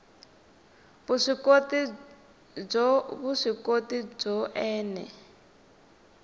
vuswikoti byo vuswikoti byo ene